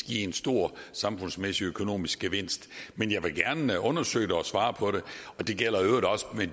give en stor samfundsøkonomisk gevinst men jeg vil gerne undersøge det og svare på det det gælder i øvrigt også hvad